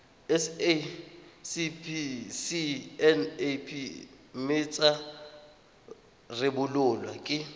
sacnap mme tsa rebolwa ke